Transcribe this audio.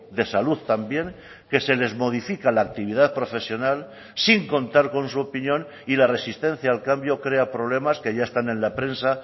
de salud también que se les modifica la actividad profesional sin contar con su opinión y la resistencia al cambio crea problemas que ya están en la prensa